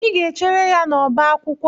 Ị ga-echere ya n'ọbá akwụkwọ!